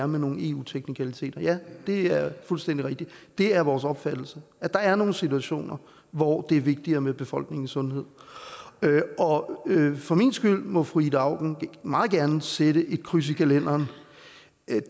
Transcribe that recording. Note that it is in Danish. nogle eu teknikaliteter ja det er fuldstændig rigtigt det er vores opfattelse der er nogle situationer hvor det er vigtigere med befolkningens sundhed og for min skyld må fru ida auken meget gerne sætte et kryds i kalenderen